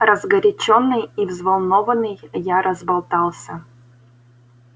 разгорячённый и взволнованный я разболтался